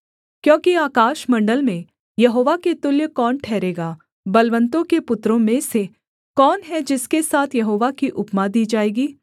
क्योंकि आकाशमण्डल में यहोवा के तुल्य कौन ठहरेगा बलवन्तों के पुत्रों में से कौन है जिसके साथ यहोवा की उपमा दी जाएगी